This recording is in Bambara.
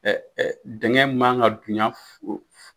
Ɛɛ dingɛ man ka dunya